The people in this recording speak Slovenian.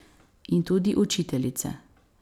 In tudi učiteljice.